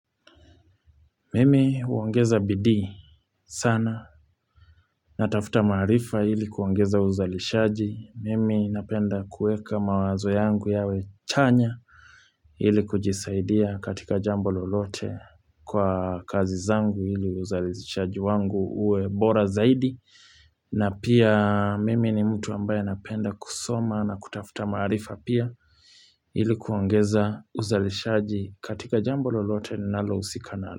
Mimi huongeza bidii sana natafuta maarifa hili kuangeza uzalishaji mimi napenda kueka mawazo yangu yawe chanya hili kujisaidia katika jambo lolote kwa kazi zangu hili uzalishaji wangu uwe bora zaidi na pia mimi ni mtu ambaye anapenda kusoma na kutafuta maarifa pia hili kuongeza uzalishaji katika jambo lolote ninalo usika nalo.